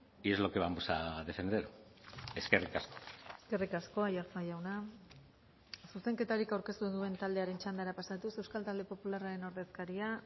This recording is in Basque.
y es lo que vamos a defender eskerrik asko eskerrik asko aiartza jauna zuzenketarik aurkeztu ez duen taldearen txandara pasatuz euskal talde popularraren ordezkaria